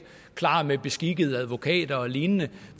klar med beskikkede advokater og lignende